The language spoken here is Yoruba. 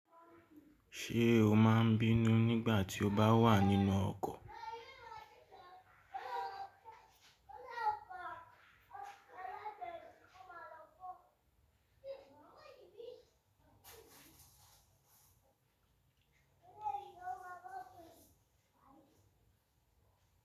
Ṣé o máa n bínú nígbà tí o bá wà nínú ọkọ̀?